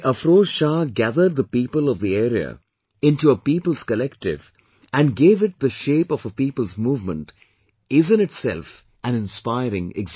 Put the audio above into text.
Afroz Shah gathered the people of the area into a people's collective and gave it the shape of a People's movement in itself an inspiring example